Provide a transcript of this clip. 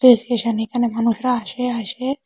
Rail station এখানে মানুষরা আসে আসে।